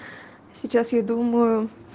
сейчас я думаю